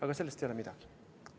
Aga sellest ei ole midagi.